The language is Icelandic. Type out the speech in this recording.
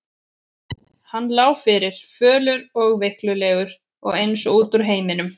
Hann lá fyrir, fölur og veiklulegur og eins og út úr heiminum.